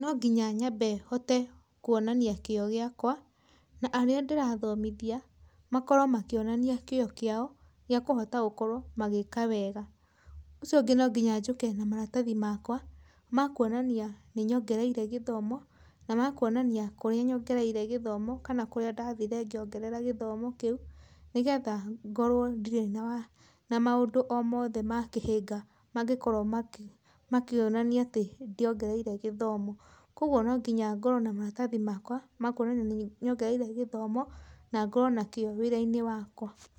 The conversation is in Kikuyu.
Nonginya nyambe hote kwonania kĩo gĩakwa na arĩa ndĩrathomithia makorwo makĩonania kĩo kĩao gĩa kũhota gũkorwo magĩka wega, ũcio ũngĩ nonginya njũke na maratahi makwa makwonania nĩnyongereire gĩthomo na makwonania kũrĩa nyongereire gĩthomo kana kũrĩa ndathire ngĩongerera gĩthomo kĩu, nĩgetha ngorwo ndirĩ na maũndũ omothe makĩhĩnga mangĩkorwo makĩonania atĩ ndiongereire gĩthomo, kwoguo nonginya ngorwe na maratathi makwama kwonania nĩnyongereire gĩthomo na ngorwo na kĩo wĩrainĩ wakwa.